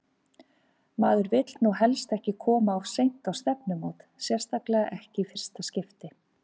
Maður vill nú helst ekki koma of seint á stefnumót, sérstaklega ekki í fyrsta skipti!